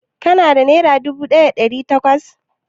Ka na da nera dubu ɗaya da ɗari takwas?